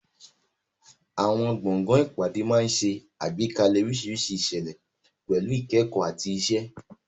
Àwọn gbọ̀ngàn ìpàdé máa ń ṣe àgbékalẹ̀ oríṣiríṣi ìṣẹ̀lẹ̀, pẹ̀lú ìkẹ́kọ̀ọ́ àti ìṣe.